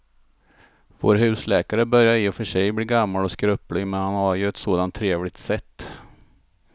Vår husläkare börjar i och för sig bli gammal och skröplig, men han har ju ett sådant trevligt sätt!